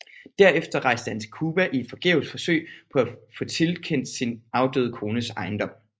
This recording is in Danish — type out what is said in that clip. Derefter rejste han til Cuba i et forgæves forsøg på at få tilkendt sin afdøde kones ejendom